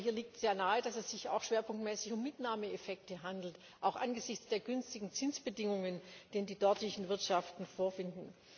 Aber hier liegt sehr nahe, dass es sich auch schwerpunktmäßig um Mitnahmeeffekte handelt, auch angesichts der günstigen Zinsbedingungen, die die dortigen Wirtschaften vorfinden.